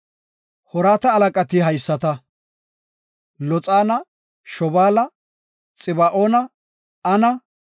Hoorata halaqati haysata; Loxaana, Shobaala, Xiba7oona, Ana,